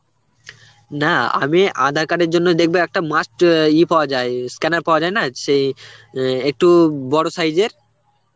না আমি aadhar card এর জন্য দেখবি একটা must অ্যাঁ ইয়ে পাওয়া যায়., scanner পাওয়া যায় না সেই অ্যাঁ একটু বড় size এর